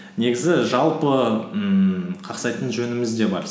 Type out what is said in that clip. негізі жалпы ммм қақсайтын жөніміз де бар